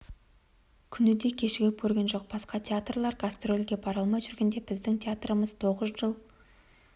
күн де кешігіп көрген жоқ басқа театрлар гастрольге бара алмай жүргенде біздің театрымыз тоғыз жыл